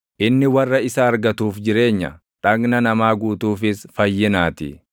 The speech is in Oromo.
inni warra isa argatuuf jireenya, dhagna namaa guutuufis fayyinaatii.